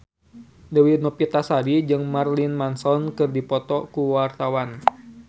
Dewi Novitasari jeung Marilyn Manson keur dipoto ku wartawan